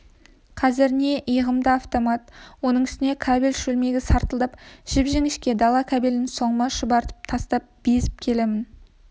қазір не иығымда автомат оның үстіне кабель шөлмегі сартылдап жіп-жіңішке дала кабелін соңыма шұбыртып тастап безіп келемін